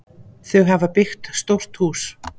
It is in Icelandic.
Þau hafa byggt stórt hús.